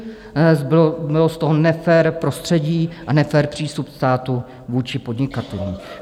Zbylo z toho nefér prostředí a nefér přístup státu vůči podnikatelům.